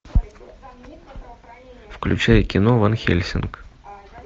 включай кино ван хельсинг